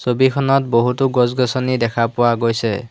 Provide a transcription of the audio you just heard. ছবিখনত বহুতো গছ-গছনি দেখা পোৱা গৈছে।